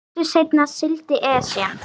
Stuttu seinna sigldi Esjan